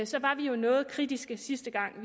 så var vi jo noget kritiske sidste gang